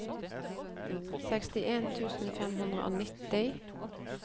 sekstien tusen fem hundre og nitti